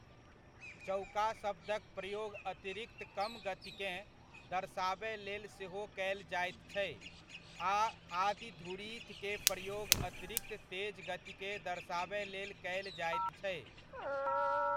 चौका शब्दक प्रयोग अतिरिक्त कम गतिकेँ दर्शाबय लेल सेहो कयल जाइत छै आ आदि धुरीथ के प्रयोग अतिरिक्त तेज गतिकेँ दर्शाबय लेल कयल जाइत छै।